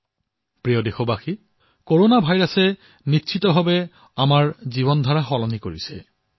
মোৰ মৰমৰ দেশবাসীসকল কৰোনা ভাইৰাছে নিশ্চিত ৰূপত আমাৰ জীৱন শৈলী পৰিৱৰ্তিত কৰিছে